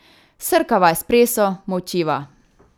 Srkava espresso, molčiva.